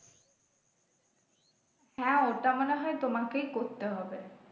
হ্যাঁ ওটা মনে হয় তোমাকেই করতে হবে।